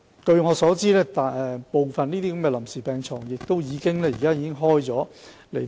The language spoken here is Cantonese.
據我所知，這些臨時病床部分已投入服務。